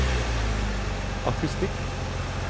akustikk